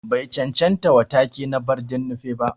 Bai chanchanta wa take na Barden Nupe ba.